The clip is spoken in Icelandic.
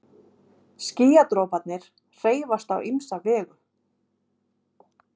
Skýjadroparnir hreyfast á ýmsa vegu.